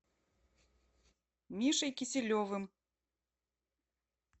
мишей киселевым